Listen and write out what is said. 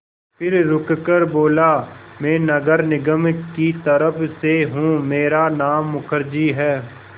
फिर रुककर बोला मैं नगर निगम की तरफ़ से हूँ मेरा नाम मुखर्जी है